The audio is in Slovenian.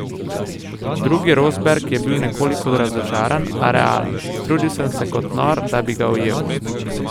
Drugi Rosberg je bil nekoliko razočaran, a realen: "Trudil sem se kot nor, da bi ga ujel.